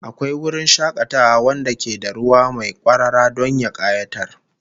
Akwai wurin shakatawa wanda ke da ruwa mai kwarara don ya kayatar